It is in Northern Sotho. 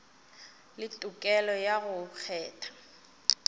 le tokelo ya go kgetha